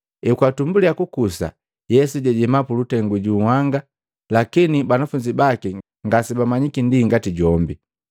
Ekwatumbuliya kukusa, Yesu jajema mulutengu ju nhanga, lakini banafunzi baki ngasemanyiki ndi ngati jombe.